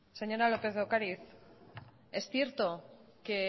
señora lópez de ocariz es cierto que